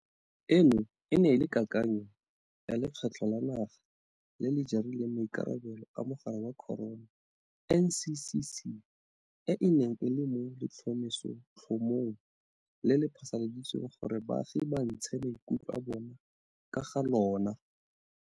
Eno e ne e le kakanyo ya Lekgotla la Naga le le Jarileng Maikarabelo a Mogare wa Corona NCCC, e e neng e le mo letlhomesotlhomong le le phasaladitsweng gore baagi ba ntshe maikutlo a bona ka ga lona.